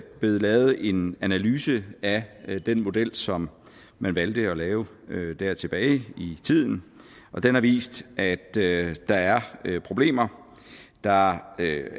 blevet lavet en analyse af den model som man valgte at lave der tilbage i tiden og den har vist at der er problemer der